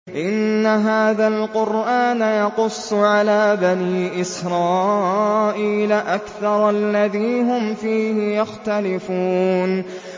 إِنَّ هَٰذَا الْقُرْآنَ يَقُصُّ عَلَىٰ بَنِي إِسْرَائِيلَ أَكْثَرَ الَّذِي هُمْ فِيهِ يَخْتَلِفُونَ